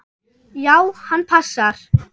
Já, hann passar.